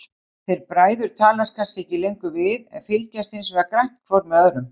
Þeir bræður talast kannski ekki lengur við, en fylgjast hinsvegar grannt hvor með öðrum.